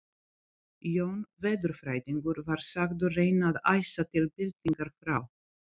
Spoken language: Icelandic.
Jón veðurfræðingur var sagður reyna að æsa til byltingar frá